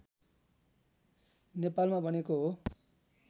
नेपालमा बनेको हो